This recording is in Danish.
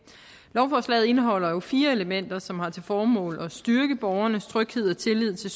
lovforslaget indeholder jo fire elementer som har til formål at styrke borgernes tryghed og tillid til